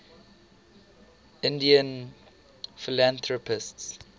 indian philanthropists